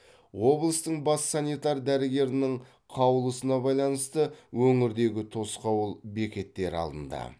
облыстың бас санитар дәрігерінің қаулысына байланысты өңірдегі тосқауыл бекеттері алынды